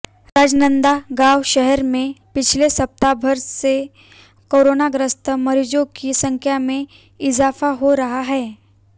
राजनांदगांव शहर में पिछले सप्ताहभर से कोरोनाग्रस्त मरीजों की संख्या में इजाफा हो रहा है